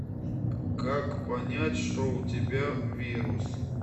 как понять что у тебя вирус